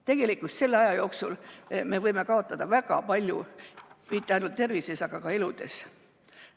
Tegelikult selle aja jooksul me võime kaotada väga palju mitte ainult tervises, vaid ka eludes.